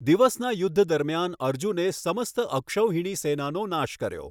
દિવસના યુદ્ધ દરમ્યાન અર્જુને સમસ્ત અક્ષૌહિણી સેનાનો નાશ કર્યો.